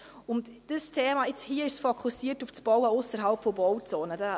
Hier ist dieses Thema fokussiert auf Bauen ausserhalb von Bauzonen.